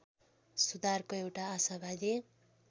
सुधारको एउटा आशावादी